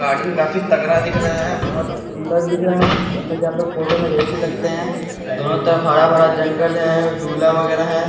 Garden काफी तगड़ा दिख रहा है बहोत सुंदर दिख रहा है जैसा कि आप लोग फोटो में देख ही सकते हैं दोनों तरफ हरा-भरा जंगल है झूला वगेरा है।